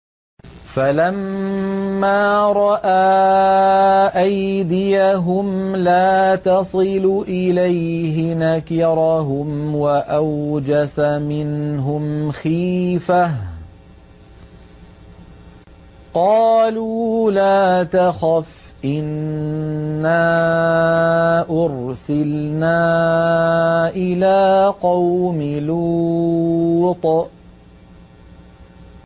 فَلَمَّا رَأَىٰ أَيْدِيَهُمْ لَا تَصِلُ إِلَيْهِ نَكِرَهُمْ وَأَوْجَسَ مِنْهُمْ خِيفَةً ۚ قَالُوا لَا تَخَفْ إِنَّا أُرْسِلْنَا إِلَىٰ قَوْمِ لُوطٍ